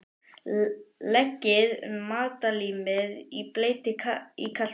Leggið matarlímið í bleyti í kalt vatn.